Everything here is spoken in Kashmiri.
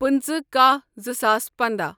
پٕنٛژٕہ کاہ زٕ ساس پنٛداہ